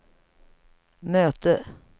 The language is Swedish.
möte